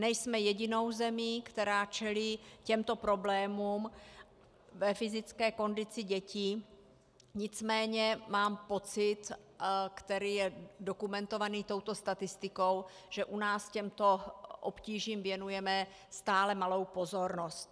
Nejsme jedinou zemí, která čelí těmto problémům ve fyzické kondici dětí, nicméně mám pocit, který je dokumentovaný touto statistikou, že u nás těmto obtížím věnujeme stále malou pozornost.